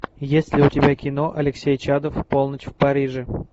есть ли у тебя кино алексей чадов полночь в париже